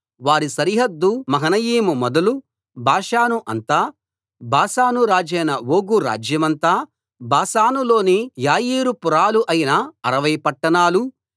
వారి సరిహద్దు మహనయీము మొదలు బాషాను అంతా బాషాను రాజైన ఓగు రాజ్యమంతా బాషానులోని యాయీరు పురాలు అయిన అరవై పట్టణాలు